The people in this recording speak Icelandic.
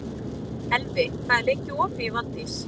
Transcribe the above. Elvi, hvað er lengi opið í Valdís?